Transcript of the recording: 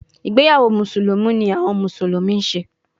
Igbeyawo Musulumi ni awọn Musulumi ṣe